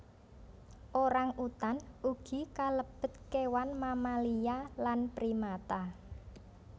Orang utan ugi kalebet kewan mamalia lan primata